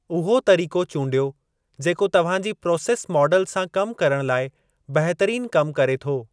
उहो तरीक़ो चूंडियो जेको तव्हां जी प्रोसैस माडल सां कमु करण लाइ बहितरीनु कमु करे थो।